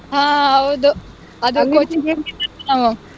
ಹಾ ಹೌದು ಅದು .